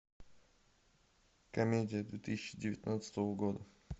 комедия две тысячи девятнадцатого года